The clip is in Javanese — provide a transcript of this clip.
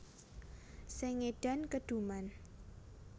Sing ngedan keduman